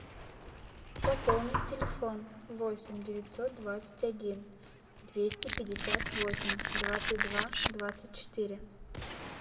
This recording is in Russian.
пополнить телефон восемь девятьсот двадцать один двести пятьдесят восемь двадцать два двадцать четыре